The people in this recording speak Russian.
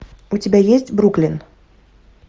у тебя есть бруклин